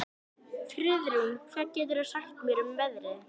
Hreppsnefndin myndi fúslega veita leyfi sitt til slíkrar kynnisferðar.